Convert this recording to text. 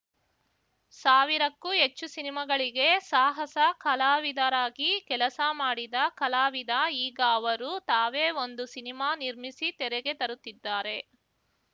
ಸಾವಿರಕ್ಕೂ ಹೆಚ್ಚು ಸಿನಿಮಾಗಳಿಗೆ ಸಾಹಸ ಕಲಾವಿದರಾಗಿ ಕೆಲಸ ಮಾಡಿದ ಕಲಾವಿದ ಈಗ ಅವರು ತಾವೇ ಒಂದು ಸಿನಿಮಾ ನಿರ್ಮಿಸಿ ತೆರೆಗೆ ತರುತ್ತಿದ್ದಾರೆ